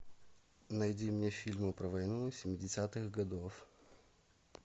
найди мне фильмы про войну семидесятых годов